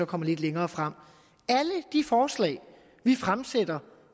kommer lidt længere frem alle de forslag vi fremsætter